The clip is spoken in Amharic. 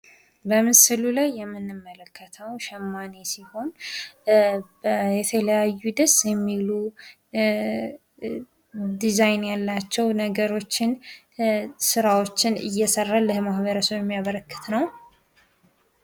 በምስሉ ላይ የምንመለከተው ሸማኔ ሲሆን የተለያዩ ደስ የሚሉ ዲዛይን ያላቸው ነገሮችን ስራዎችን እየሰራ ለማህበርሰቡ የሚያበረክት ነው።